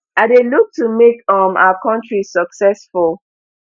i dey look to make um our country successful